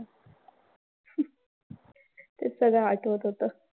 तेच सगळं आठवत होतं.